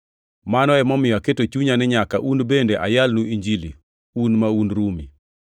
Mano emomiyo aketo chunya ni nyaka un bende ayalnu Injili, un ma un Rumi.